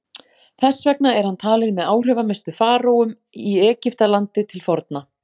Þess vegna er hann talinn með áhrifamestu faraóum í Egyptalandi til forna.